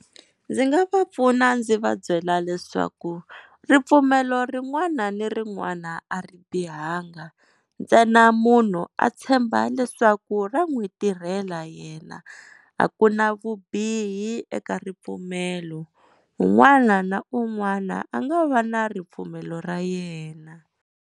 Ndzi nga va pfuna ndzi va byela leswaku ripfumelo rin'wana na rin'wana a ri bihanga, ntsena munhu a tshemba leswaku ra n'wi tirhela yena a ku na vubihi eka ripfumelo. Un'wana na un'wana a nga va na ripfumelo ra yena.